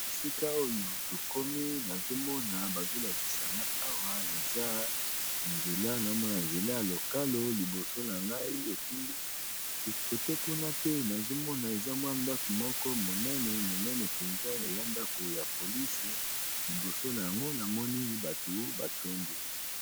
Esika oyo tokomi, nazo mona bazo lakisa nga awa eza nzela. Nao mona nzela ya lokalo llboso na ngai. Epui kote kuna pe, nazo mona eza mwa ndako moko monene, monene mpenza. Eya ndako ya polise. Liboso na yango, namoni bato batondi.